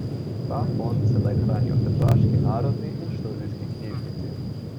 Ta fond sedaj hranijo v tržaški Narodni in študijski knjižnici.